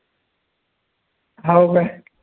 हाव काय